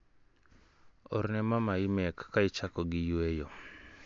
Orne Mama imek ka ichako gi yueyo.